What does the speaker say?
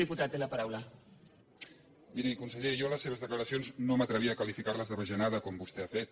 miri conseller jo les seves declaracions no m’atrevia a qualificar les de bajanada com vostè ha fet